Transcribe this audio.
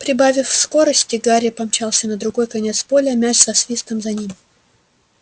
прибавив скорости гарри помчался на другой конец поля мяч со свистом за ним